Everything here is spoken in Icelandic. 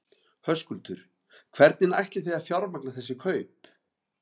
Höskuldur: Hvernig ætlið þið að fjármagna þessi kaup?